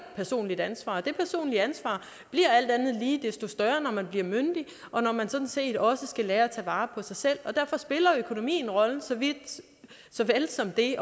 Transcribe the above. personligt ansvar og det personlige ansvar bliver alt andet lige desto større når man bliver myndig og når man sådan set også skal lære at tage vare på sig selv derfor spiller økonomien så vel som det